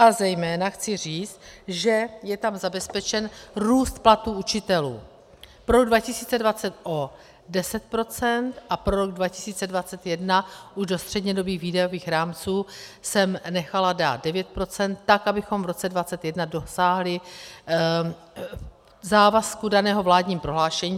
A zejména chci říct, že je tam zabezpečen růst platů učitelů pro rok 2020 o 10 % a pro rok 2021 už do střednědobých výdajových rámců jsem nechala dát 9 %, tak abychom v roce 2021 dosáhli závazku daného vládním prohlášením.